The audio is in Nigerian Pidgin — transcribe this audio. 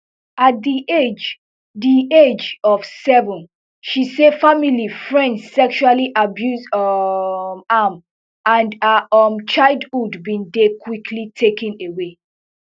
at di age di age of seven she say family friend sexually abuse um am and her um childhood bin dey quickly taken away